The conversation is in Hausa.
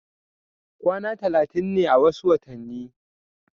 kwana talatin ne a wasu watanni